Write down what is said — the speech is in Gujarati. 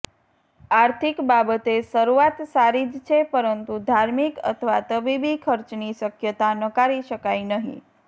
આર્થિક બાબતે શરૂઆત સારી જ છે પરંતુ ધાર્મિક અથવા તબીબી ખર્ચની શક્યતા નકારી શકાય નહીં